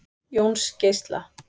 Jónsgeisla